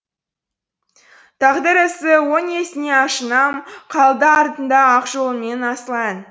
тағдыр ісі о несіне ашынам қалды артында ақ жолы мен асыл ән